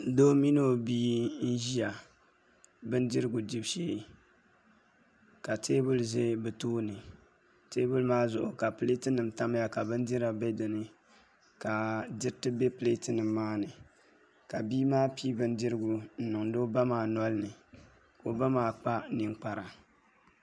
Doo mini o bia n ʒiya bindirigu dibu shee ka teebuli ʒɛ bi tooni teebuli maa zuɣu ka pileet nim tamya ka bindira bɛ dinni ka diriti bɛ pileet nim maa ni ka bia maa pii bindirigu n niŋdi o ba maa nolini ka o ba maa kpa ninkpara